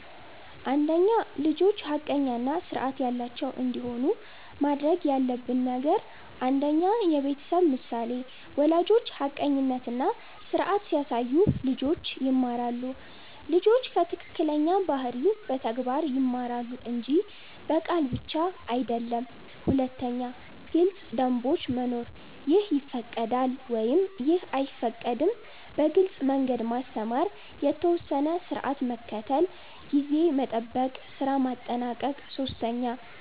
1) ልጆች ሐቀኛ እና ስርዓት ያላቸው እንዲሆኑ ማድረግ ያለብን ነገር 1. የቤተሰብ ምሳሌ ወላጆች ሐቀኝነት እና ስርዓት ሲያሳዩ ልጆች ይማራሉ ልጆች ከትክክለኛ ባህሪ በተግባር ይማራሉ እንጂ በቃል ብቻ አይደለም 2. ግልጽ ደንቦች መኖር “ይህ ይፈቀዳል / ይህ አይፈቀድም” በግልጽ መንገድ ማስተማር የተወሰነ ስርዓት መከተል (ጊዜ መጠበቅ፣ ስራ ማጠናቀቅ 3